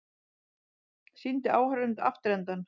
Sýndi áhorfendum afturendann